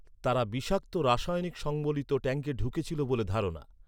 তারা বিষাক্ত রাসায়নিক সংবলিত ট্যাঙ্কে ঢুকেছিল বলে ধারণা।